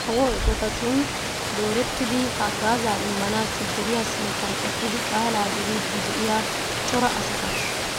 Kawo eqotatun doorettidi haggaazaa immanaassi deriyaa sinttan eqqidi qaalaa geliiddi de'iyaa cora asata.